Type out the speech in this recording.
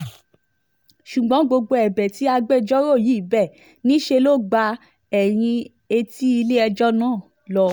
ṣùgbọ́n gbogbo ẹ̀bẹ̀ tí agbẹjọ́rò yìí bẹ́ níṣẹ́ ló gba ẹ̀yìn etí ilé-ẹjọ́ náà lọ